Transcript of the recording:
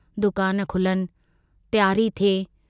दुकान खुलनि, तियारी थिए।